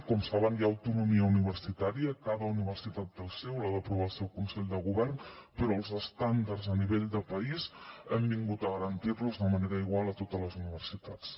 com saben hi ha autonomia universitària cada universitat té el seu l’ha d’aprovar el seu consell de govern però els estàndards a nivell de país hem vingut a garantir los de manera igual a totes les universitats